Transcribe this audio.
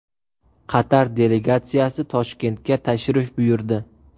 Qatar delegatsiyasi Toshkentga tashrif buyurdi.